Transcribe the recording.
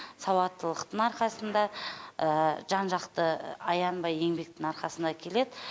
сауаттылықтың арқасында жан жақты аянбай еңбектің арқасында келеді